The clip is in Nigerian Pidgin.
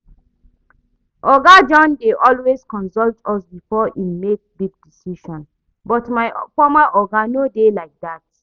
Oga John dey always consult us before im make big decisions but my former oga no dey like dat